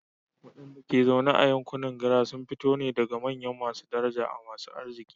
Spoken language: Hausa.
Wadanda ke zaune a yankunan GRA sun fito ne daga manyan masu daraja da masu arziki.